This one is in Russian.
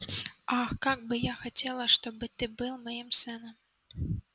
ах как бы я хотела чтобы ты был моим сыном